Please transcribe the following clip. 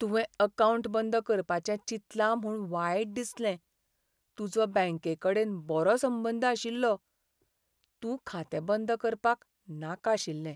तुवें अकावंट बंद करपाचें चिंतलां म्हूण वायट दिसलें. तुजो बँकेकडेन बरो संबंद आशिल्लो, तूं खातें बंद करपाक नाका आशिल्लें.